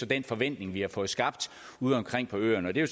den forventning vi har fået skabt udeomkring på øerne og det er